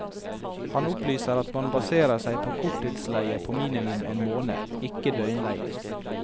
Han opplyser at man baserer seg på korttidsleie på minimum en måned, ikke døgnleie.